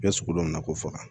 I bɛ sugu dɔ na k'o faga